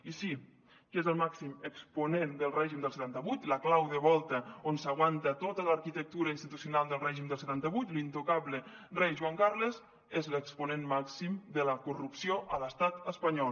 i sí qui és el màxim exponent del règim del setanta vuit la clau de volta on s’aguanta tota l’arquitectura institucional del règim del setanta vuit l’intocable rei joan carles és l’exponent màxim de la corrupció a l’estat espanyol